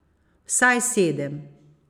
Vsaj sedem.